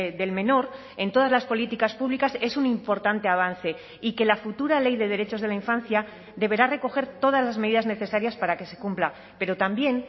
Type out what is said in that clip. del menor en todas las políticas públicas es un importante avance y que la futura ley de derechos de la infancia deberá recoger todas las medidas necesarias para que se cumpla pero también